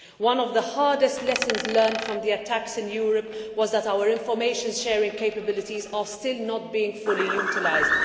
One of the hardest lessons learned from the attacks in Europe was that our information sharing capabilities are still not being fully utilised.